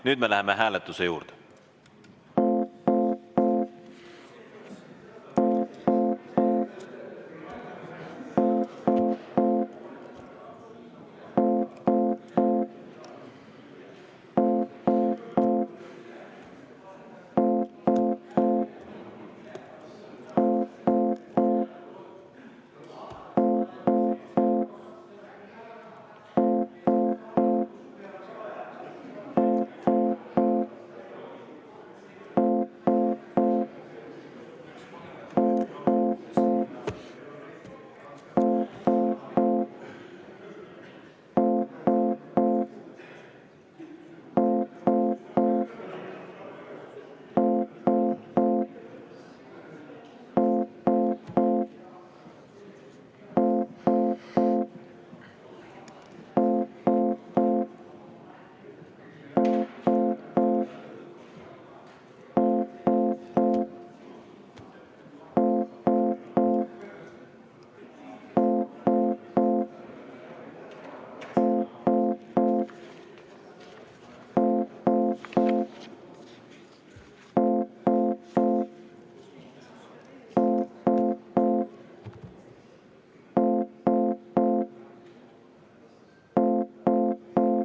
Nüüd me läheme hääletuse juurde.